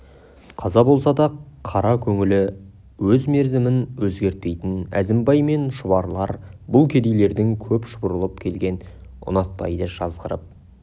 қаза болса да қара көңілі өз мерзімін өзгертпейтін әзімбай мен шұбарлар бұл кедейлердің көп шұбырып келгенін ұнатпайды жазғырып